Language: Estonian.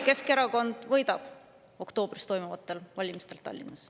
Keskerakond võidab oktoobris toimuvatel valimistel Tallinnas.